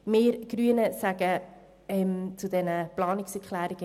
Wir Grünen befürworten die Planungserklärungen.